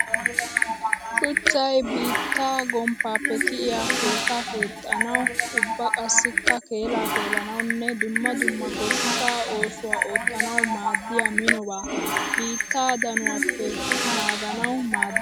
Shuchchay biittaa gomppappe kiyiya keetta keexxanawu ubba qassikka keella keellanawunne dumma dumma goshsha oosuwa ootanawu maadiya minoba. Biitta danuwappe naaganawu maades.